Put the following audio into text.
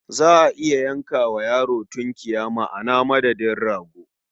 Za a iya yanka wa yaro tunkiya ma a madadin rago.